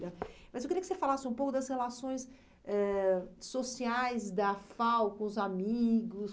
Mas eu queria que você falasse um pouco das relações eh sociais da FAU com os amigos.